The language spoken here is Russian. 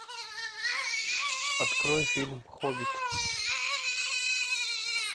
открой фильм хоббит